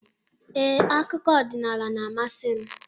Ee, akụkọ ọdịnala na-amasị m.